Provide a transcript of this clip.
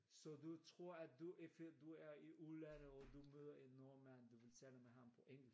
Så du tror at hvis du er i udlandet og du møder en nordmand du ville tale med ham på englesk?